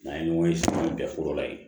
N'an ye ɲɔgɔn ye bɛnfo la ye